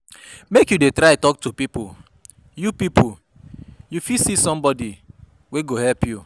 Make you dey try tok to people, you people, you fit see somebodi wey go help you.